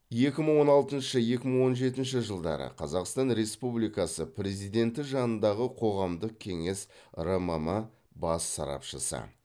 екі мың он алтыншы екі мың он жетінші жылдары қазақстан республикасы президенті жанындағы қоғамдық кеңес рмм бас сарапшысы